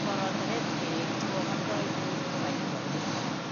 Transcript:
Koroteret peek chekomodo bii kokanyi korotik